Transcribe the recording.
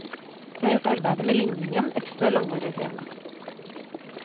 Det har gjort arbeidet med ligningen ekstra langvarig og krevende.